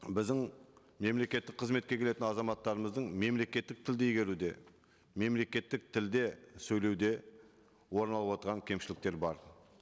біздің мемлекеттік қызметке келетін азаматтарымыздың мемлекеттік тілді игеруде мемлекеттік тілде сөйлеуде орын алып отырған кемшіліктер бар